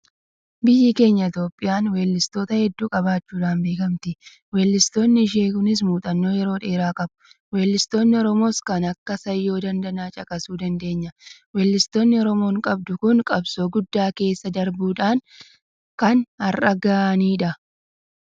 Biyyi keenya Itoophiyaan weellistoota hedduu qabaachuudhaan beekamti. Weellistoonni ishee kunis muuxxannoo yeroo dheeraa qabu. Weellistoonni Oromoos kan akka Sayyoo Daandanaa caqasuu dandeenya. Weellistoonni Oromoon qabdu kun qabsoo guddaa keessa darbuudhaan kan har'a gahanidha.